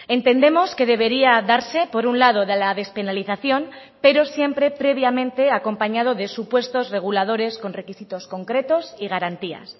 entendemos que debería darse por un lado de la despenalización pero siempre previamente acompañado de supuestos reguladores con requisitos concretos y garantías